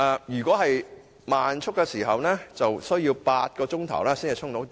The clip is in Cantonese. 若屬慢速充電器，將需要8小時才能完成充電。